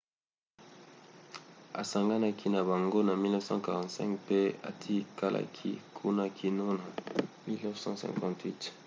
asanganaki na bango na 1945 mpe atikalaki kuna kino na 1958